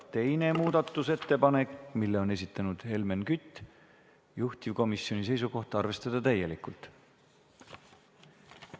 Teine muudatusettepanek, mille on esitanud Helmen Kütt, juhtivkomisjoni seisukoht on arvestada täielikult.